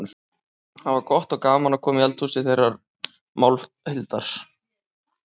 Það var gott og gaman að koma í eldhúsið þeirra Málhildar.